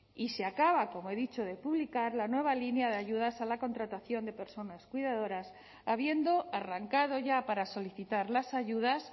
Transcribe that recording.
y se acaba como he dicho de publicar la nueva línea de ayudas a la contratación de personas cuidadoras habiendo arrancado ya para solicitar las ayudas